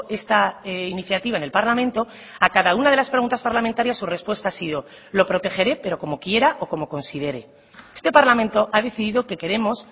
esta iniciativa en el parlamento a cada una de las preguntas parlamentarias su respuesta ha sido lo protegeré pero como quiera o como considere este parlamento ha decidido que queremos